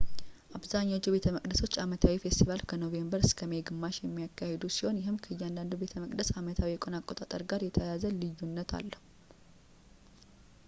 አብዛኞቹ ቤተመቅደሶች አመታዊ ፌስቲቫል ከኖቬምበር እስከ ሜይ ግማሽ የሚያካሂዱ ሲሆን ይህም ከእያንዳንዱ ቤተመቅደስ አመታዊ የቀን አቆጣጠር ጋር የተያያዘ ልዩነት አለው